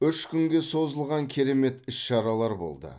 үш күнге созылған керемет іс шаралар болды